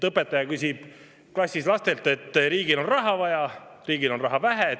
Õpetaja küsib klassis lastelt: "Riigil on raha vaja, riigil on raha vähe.